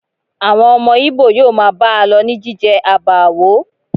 Àwọn ọmọ Ìbò yóò máa bá a lọ ní jíjẹ àbààwó